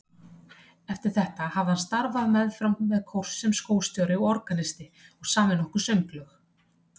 Eftir þetta hafði hann starfað meðfram sem kórstjóri og organisti og samið nokkur sönglög.